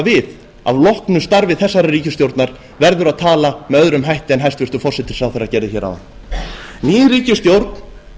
við að loknu starfi þessarar ríkisstjórnar verður að tala með öðrum hætti en hæstvirtur forsætisráðherra gerði hér áðan ný ríkisstjórn